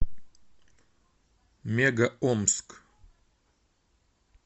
мега омск